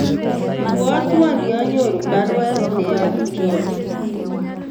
Ibwotwon yanyoru baruet neyobu john